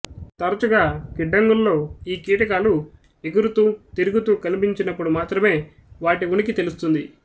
తరచుగా గిడ్డంగుల్లో ఈ కీటకాలు ఎగురుతూ తిరుగుతూ కనిపించినప్పుడు మాత్రమే వాటి ఉనికి తెలుస్తుంది